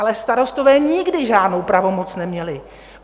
Ale starostové nikdy žádnou pravomoc neměli.